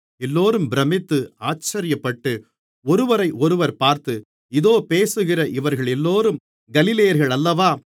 எல்லோரும் பிரமித்து ஆச்சரியப்பட்டு ஒருவரையொருவர் பார்த்து இதோ பேசுகிற இவர்களெல்லோரும் கலிலேயர்கள் அல்லவா